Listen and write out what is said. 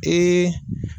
Ee